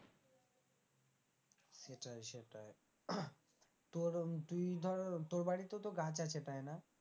তোর তুই ধর তোর বাড়িতেও তো গাছ আছে তাই না?